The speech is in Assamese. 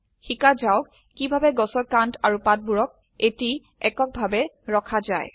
শিকা যাওক কিভাবে গাছৰ কান্ড আৰু পাতবোৰক এটি একক ভাবে ৰখা যায়